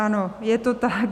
Ano, je to tak.